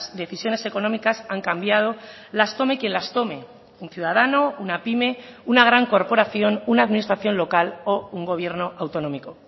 decisiones económicas han cambiado las tome quien las tome un ciudadano una pyme una gran corporación una administración local o un gobierno autonómico